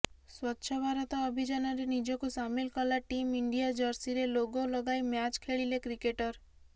ସ୍ୱଚ୍ଛଭାରତ ଅଭିଯାନରେ ନିଜକୁ ସାମିଲ କଲା ଟିମ୍ ଇଣ୍ଡିଆ ଜର୍ସିରେ ଲୋଗୋ ଲଗାଇ ମ୍ୟାଚ୍ ଖେଳିଲେ କ୍ରିକେଟର